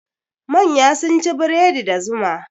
Manya sun ci bredi da zuma.